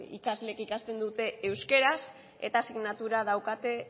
ikasleek ikasten dute euskeraz eta asignatura daukate